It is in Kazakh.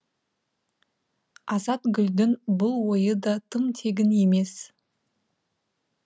азатгүлдің бұл ойы да тым тегін емес